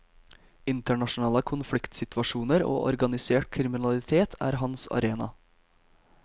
Internasjonale konfliktsituasjoner og organisert kriminalitet er hans arena.